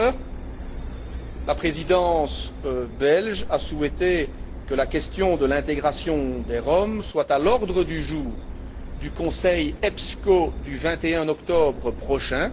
Par ailleurs, la Présidence belge a souhaité que la question de l'intégration des Roms soit à l'ordre du jour du Conseil EPSCO du 21 octobre prochain.